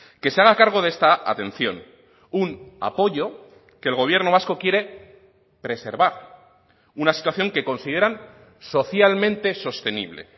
que se haga cargo de esta atención un apoyo que el gobierno vasco quiere preservar una situación que consideran socialmente sostenible